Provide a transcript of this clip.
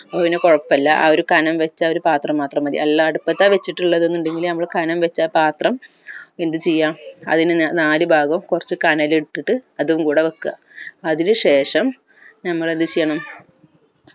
അതുപിന്നെ കുഴപ്പില്ല ആ ഒരു കനം വെച്ച ആ ഒരു പാത്രം മാത്രം മതി അല്ല അടപത്താ വെച്ചിട്ടുള്ളത്‌ എന്നുണ്ടങ്കിൽ നമ്മൾ കനം വെച്ച ആ പാത്രം എന്തുചെയ്യ അതിന് ന നാല് ഭാഗവും കൊർച്ച് കനൽ ഇട്ടിട്ട് അതും കൂടെ വെക്ക